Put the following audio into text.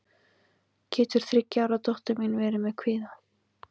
getur þriggja ára dóttir mín verið með kvíða